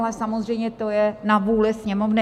Ale samozřejmě to je na vůli Sněmovny.